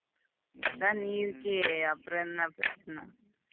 உம் அதான் நீ இருக்கியே அப்புறம் என்ன பிரச்சின?